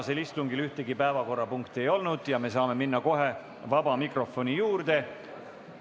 Tänasel istungil ühtegi päevakorrapunkti ei ole ja me saame minna kohe vaba mikrofoni juurde.